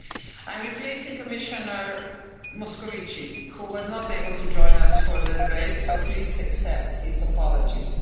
I am replacing Commissioner Moscovici, who was not able to join us for the debate, so please accept his apologies.